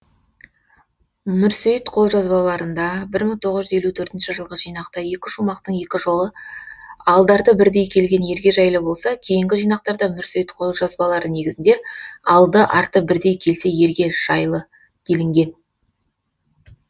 мүрсейіт қолжазбаларында бір мың тоғыз жүз елу төртінші жылғы жинақта екі шумақтың екі жолы алды арты бірдей келген ерге жайлы болса кейінгі жинақтарда мүрсейіт қолжазбалары негізінде алды арты бірдей келсе елге жайлы делінген